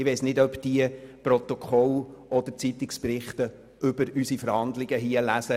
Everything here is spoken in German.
Ich weiss nicht, ob diese die Protokolle oder Zeitungsberichte über unsere Verhandlungen lesen.